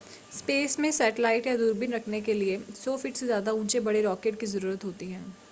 space में satellite या दूरबीन रखने के लिए 100 फ़ीट से ज़्यादा ऊंचे बड़े रॉकेट की ज़रूरत होती है